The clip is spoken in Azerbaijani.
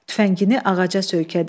Tüfəngini ağaca söykədi.